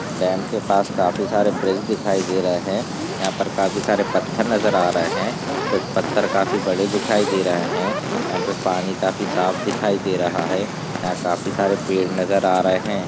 dam के पास काफी सारे ब्रिज दिखाई दे रहे है यहाँ पर काफी सारे पत्थर नजर आ रहे है कुछ पत्थर काफी बड़े दिखाई दे रहे है यहाँ पे पानी काफी साफ दिखाई दे रहा है यहाँ काफी सारे पेड़ नजर आ रहे --